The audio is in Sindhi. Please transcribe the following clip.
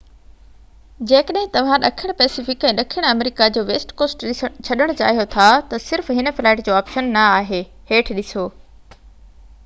جيڪڏهن توهان ڏکڻ پئسفڪ ۽ ڏکڻ آمريڪا جو ويسٽ ڪوسٽ ڇڏڻ چاهيو ٿا تہ صرف هن فلائيٽ جو آپشن نہ آهي. هيٺ ڏسو